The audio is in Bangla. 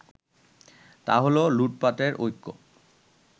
তাহলো লুটপাটের ঐক্য